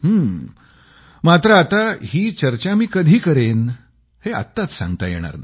हां मात्र आता ही चर्चा मी कधी करेन हे आत्ताच सांगता येणार नाही